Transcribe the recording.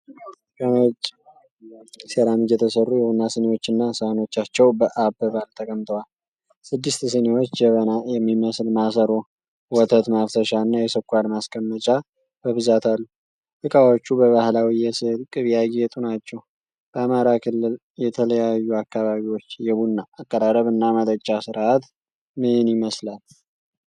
ከነጭ ሴራሚክ የተሰሩ የቡና ስኒዎችና ሳህኖቻቸው በአበባል ተቀምጠዋል። ስድስት ስኒዎች፣ ጀበና የሚመስል ማሰሮ፣ የወተት ማፍሰሻና የስኳር ማስቀመጫ በብዛት አሉ። እቃዎቹ በባህላዊ የስዕል ቅብ ያጌጡ ናቸው። በአማራ ክልል የተለያዩ አካባቢዎች የቡና አቀራረብና መጠጫ ሥርዓት ምን ይመስላል?